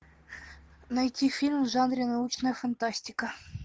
найти фильм в жанре научная фантастика